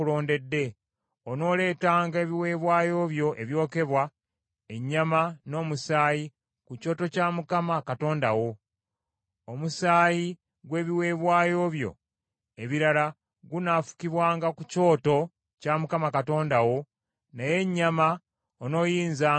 Onooleetanga ebiweebwayo byo ebyokebwa, ennyama n’omusaayi, ku Kyoto kya Mukama Katonda wo. Omusaayi gw’ebiweebwayo byo ebirala gunaafukibwanga ku Kyoto kya Mukama Katonda wo, naye ennyama onooyinzanga okugirya.